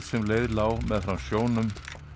sem leið lá meðfram sjónum